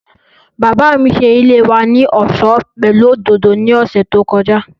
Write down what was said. Bàbá mi ṣe ilé wa ní ọ̀ṣọ́ pẹ̀lú òdòdó ní ọ̀sẹ̀ tí ó kọjá